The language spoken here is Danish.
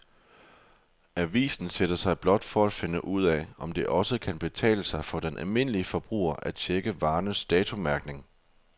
Avisen sætter sig blot for at finde ud af, om det også kan betale sig for den almindelige forbruger at checke varernes datomærkning.